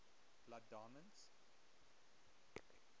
blood diamonds